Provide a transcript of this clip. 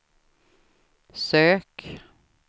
sök